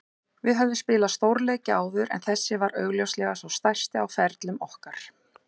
Við höfðum spilað stórleiki áður en þessi var augljóslega sá stærsti á ferlum okkar.